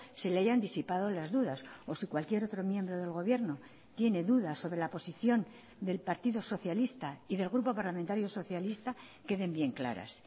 se le hayan disipado las dudas o si cualquier otro miembro del gobierno tiene dudas sobre la posición del partido socialista y del grupo parlamentario socialista queden bien claras